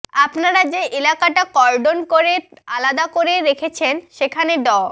আপনারা যে এলাকাটা কর্ডন করে আলাদা করে রেখেছেন সেখানে ড